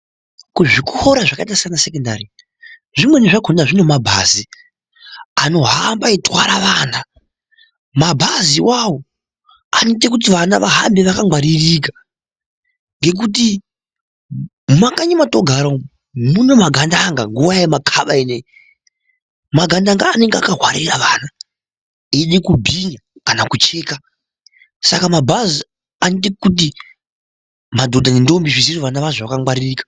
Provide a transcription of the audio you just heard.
Kuzvikora zvakaita sana sekondari zvimweni zvakona zvine mabhazi anohamba eitwara vana mabhazi ivavo anoite kuti vana vahambe vakangwaririka. Ngekuti mumakanyi matogara umu mune magandanga nguva yemakaba inoiyi magandanga anenge akavharira vantu eida kubinya kana kucheka. Saka mabhazi anoita kuti madhodha nendondi zvisiye vana vazvo vakangwaririka.